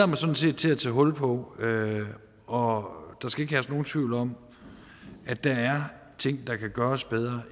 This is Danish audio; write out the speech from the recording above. mig sådan set til at tage hul på og der skal ikke herske nogen tvivl om at der er ting der kan gøres bedre